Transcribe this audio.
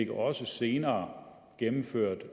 også senere gennemført